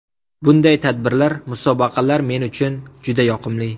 Bunday tadbirlar, musobaqalar men uchun juda yoqimli.